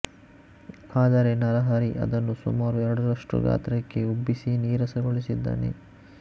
ಆದರೆ ನರಹರಿ ಅದನ್ನು ಸುಮಾರು ಎರಡರಷ್ಟು ಗಾತ್ರಕ್ಕೆ ಉಬ್ಬಿಸಿ ನೀರಸಗೊಳಿಸಿದ್ದಾನೆ